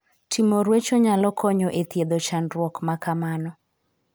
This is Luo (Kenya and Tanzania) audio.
Timo ruecho nyako konyo e thiedho chandruok ma kamano.